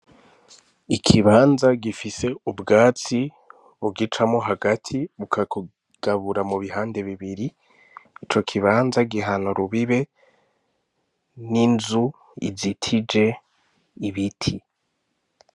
Ikibanza gifise ubwatsi bugicamwo hagati bukakigabura mubihande bibiri, ico kibanza gihana urubibe n'inzu izitije ibiti.